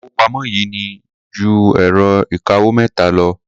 Ilé-ìfowópamọ́ yìí ní ju ẹ̀rọ-ìkawó mẹ́ta lọ.